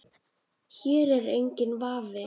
Hér er enginn vafi.